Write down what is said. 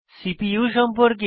CPU সম্পর্কে